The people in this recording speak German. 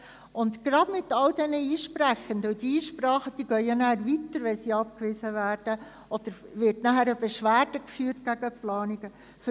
Und die Einsprechenden sind wirklich ein Problem, denn sie ziehen eine abgewiesene Einsprache weiter und führen gegen die Planungen Beschwerde.